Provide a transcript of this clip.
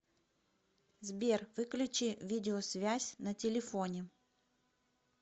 сбер выключи видеосвязь на телефоне